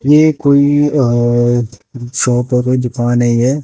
यह कोई शॉप की दुकान है।